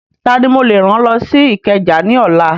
Tani mo lè rán lọ sí Ìkẹjà ní ọ̀la?